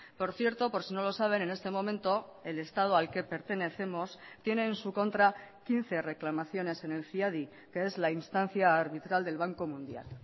por cierto por si no lo saben en este momento el estado al que pertenecemos tiene en su contra quince reclamaciones en el ciadi que es la instancia arbitral del banco mundial